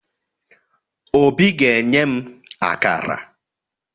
Obi ga-enye m akara